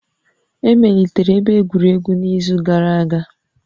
Emelitere ebe egwuregwu n'izu gara aga